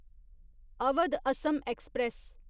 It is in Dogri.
अवध असम एक्सप्रेस